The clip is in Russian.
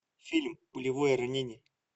фильм пулевое ранение